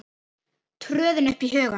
tröðin upp í hugann.